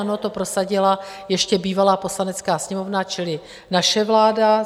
Ano, to prosadila ještě bývalá Poslanecká sněmovna, čili naše vláda.